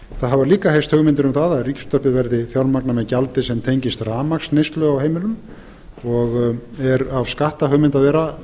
það hafa líka heyrst hugmyndir um það að ríkisútvarpið verði fjármagnað með gjaldi sem tengist rafmagnsneyslu á heimilum og er af skattahugmynd að vera